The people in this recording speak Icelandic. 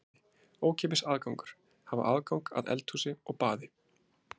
Dæmi: ókeypis aðgangur, hafa aðgang að eldhúsi og baði.